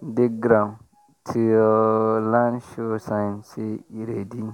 dig ground till land show sign say e ready.